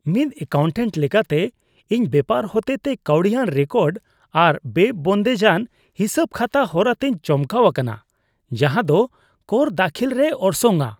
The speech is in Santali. ᱢᱤᱫ ᱮᱠᱟᱣᱩᱱᱴᱮᱱᱴ ᱞᱮᱠᱟᱛᱮ, ᱤᱧ ᱵᱮᱯᱟᱨ ᱦᱚᱛᱮᱛᱮ ᱠᱟᱣᱰᱤᱭᱟᱱ ᱨᱮᱠᱚᱨᱰ ᱟᱨ ᱵᱮᱼᱵᱚᱱᱫᱮᱡᱟᱱ ᱦᱤᱥᱟᱹᱵᱼᱠᱷᱟᱛᱟ ᱦᱚᱨᱟ ᱛᱮᱧ ᱪᱚᱢᱠᱟᱣ ᱟᱠᱟᱱᱟ ᱡᱟᱦᱟᱸᱫᱚ ᱠᱚᱨ ᱫᱟᱹᱠᱷᱤᱞ ᱨᱮᱭ ᱚᱨᱥᱚᱝᱼᱟ ᱾